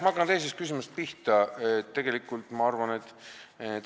Ma hakkan teisest küsimusest pihta.